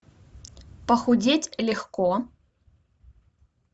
похудеть легко